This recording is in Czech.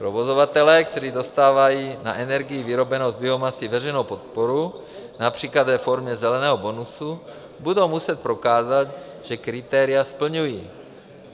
Provozovatelé, kteří dostávají na energii vyrobenou z biomasy veřejnou podporu například ve formě zeleného bonusu, budou muset prokázat, že kritéria splňují.